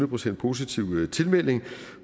procent positiv tilmelding